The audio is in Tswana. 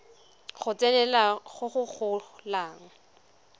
go tsenelela go go golang